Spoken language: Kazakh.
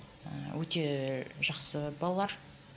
ііі өте жақсы балалар